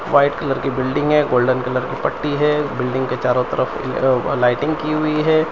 White colour की बिल्डिंग है गोल्डन कलर की पट्टी है बिल्डिंग के चारों तरफ अ लाइटिंग की हुई है।